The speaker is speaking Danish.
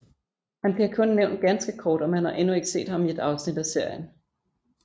Han bliver kun nævnt ganske kort og man har endnu ikke set ham i et afsnit af serien